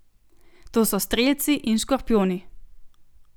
To so strelci in škorpijoni.